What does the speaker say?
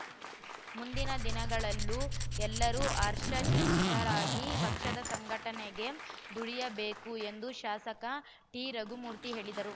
ಮುಂದಿನ ದಿನಗಳಲ್ಲೂ ಎಲ್ಲರೂ ಹರ್ಷಚಿತ್ತರಾಗಿ ಪಕ್ಷದ ಸಂಘಟನೆಗೆ ದುಡಿಯಬೇಕು ಎಂದು ಶಾಸಕ ಟಿರಘುಮೂರ್ತಿ ಹೇಳಿದರು